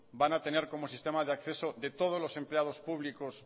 van a tener como sistema de acceso de todos los empleados públicos